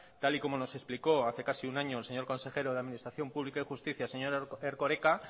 tal como nos explicó hace casi un año el señor consejero de administración pública y justicia el señor erkoreka